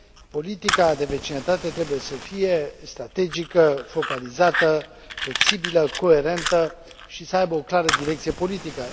politica de vecinătate trebuie să fie strategică, focalizată, flexibilă, coerentă și să aibă o clară direcție politică.